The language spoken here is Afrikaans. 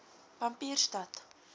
pampierstad